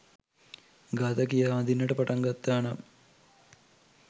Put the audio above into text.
ගාථා කියා වඳින්නට පටන්ගත්තා නම්